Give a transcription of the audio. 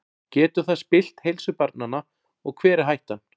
Getur það spillt heilsu barnanna og hver er hættan?